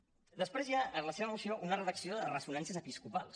després hi ha en la seva moció una redacció de ressonàncies episcopals